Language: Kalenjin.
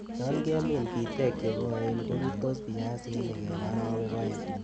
Yon kemin bitek chekoen ko rurtos biasinik en orowek oeng'.